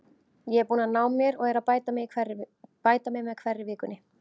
Ég er búinn að ná mér og er að bæta mig með hverri vikunni.